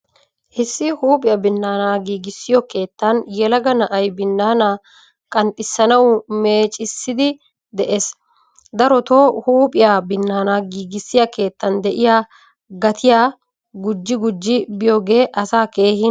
Issi huuphphiyaa binaana giigisiyo keettan yelaga na'aay binaana qanxxisuwaa meeccisidi de'ees. Daroto huuphphiyaa binaana giigisiya keettan de'iyaa gatiyaa gujji gujji biyooge asaa keehin ufayssena.